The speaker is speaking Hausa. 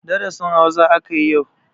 Darasin Hausa aka yi yau.